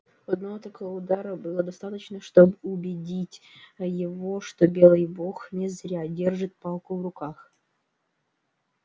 одного такого удара было достаточно чтоб убедить его что белый бог не зря держит палку в руках